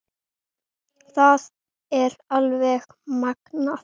Það er alveg magnað.